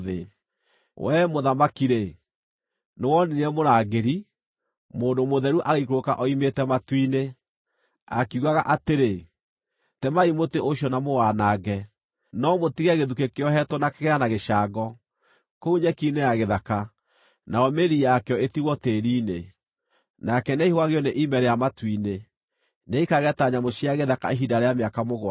“Wee, mũthamaki-rĩ, Nĩwonire mũrangĩri, mũndũ mũtheru, agĩikũrũka oimĩte matu-inĩ, akiugaga atĩrĩ, ‘Temai mũtĩ ũcio na mũwanange, no mũtige gĩthukĩ kĩohetwo na kĩgera na gĩcango, kũu nyeki-inĩ ya gĩthaka nayo mĩri yakĩo ĩtigwo tĩĩri-inĩ. Nake nĩaihũgagio nĩ ime rĩa matu-inĩ; nĩaikarage ta nyamũ cia gĩthaka ihinda rĩa mĩaka mũgwanja.’